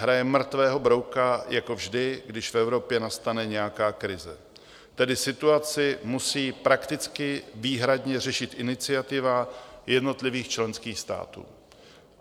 Hraje mrtvého brouka jako vždy, když v Evropě nastane nějaká krize, tedy situaci musí prakticky výhradně řešit iniciativa jednotlivých členských států.